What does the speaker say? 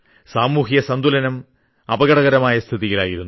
സാമൂഹ്യ സന്തുലനം അപകടകരമായ സ്ഥിതിയിലായിരുന്നു